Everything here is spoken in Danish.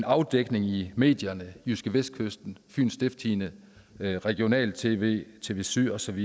afdækninger i medierne jydskevestkysten fyens stiftstidende regionalt tv tv syd osv